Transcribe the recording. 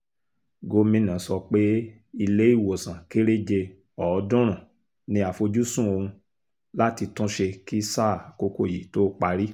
gomina sọ pé ilé ìwòsàn kéréje ọ̀ọ́dúnrún ni àfojúsùn òun láti tún ṣe kí sáà àkókò yìí tóó parí